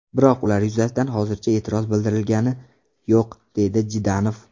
Biroq ular yuzasidan hozircha e’tiroz bildirilgani yo‘q”, dedi Jdanov.